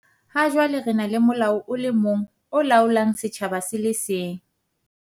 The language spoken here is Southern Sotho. Ha jwale re na le molao o le mong o laolang setjhaba se le seng.